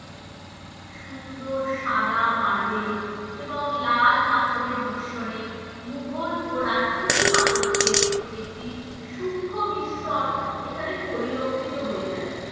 সুন্দর সাদা মার্বেল এবং লাল পাথরের মিশ্রণে মোঘল ও রাজপুত স্থাপত্যের একটি সুক্ষ মিশ্রণ এখানে পরিলক্ষিত হয়ে থাকে।